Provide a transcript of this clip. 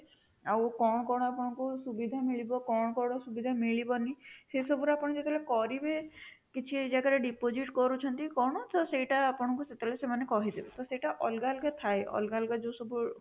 ଆଉ କଣ କଣ ଆପଣଙ୍କୁ ସୁବିଧା ମିଳିବ କଣ କଣ ସୁବିଧା ମିଳିବନି ସେ ସବୁର ଆପଣ ଯେତେବେଳେ କରିବେ କିଛି ଜାଗାରେ deposit କରୁଛନ୍ତି କଣ ସେଇଟା ଆପଣଙ୍କୁ ସେତେବେଳେ ସେମାନେ କହିଦେବେ, ତ ସେଇଟା ଅଲଗା ଅଲଗା ଥାଏ ଅଲଗା ଅଲଗା ଯୋଉ ସବୁ